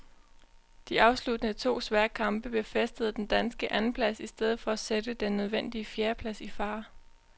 De afsluttende to svære kamp befæstede den danske andenplads i stedet for at sætte den nødvendige fjerdeplads i fare.